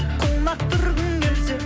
құлақ түргің келсе